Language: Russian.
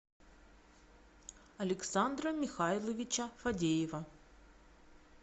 александра михайловича фадеева